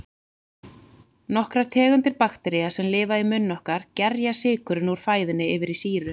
Nokkrar tegundir baktería, sem lifa í munni okkar, gerja sykurinn úr fæðunni yfir í sýru.